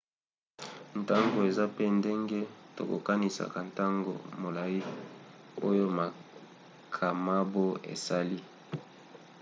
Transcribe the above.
ntango eza pe ndenge tokokanisaka ntango molai oyo makamabo esali